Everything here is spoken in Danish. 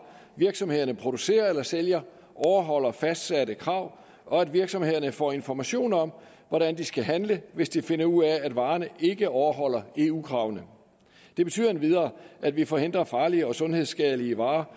virksomhederne producerer eller sælger overholder fastsatte krav og at virksomhederne får information om hvordan de skal handle hvis de finder ud af at varerne ikke overholder eu kravene det betyder endvidere at vi forhindrer farlige og sundhedsskadelige varer